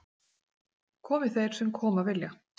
Komi þeir sem koma vilja